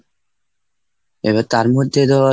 এবার তার মধ্যে ধর,